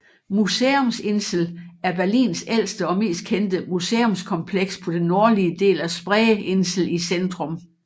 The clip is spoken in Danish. Museumsinsel er Berlins ældste og mest kendte museumskompleks på den nordlige del af Spreeinsel i centrum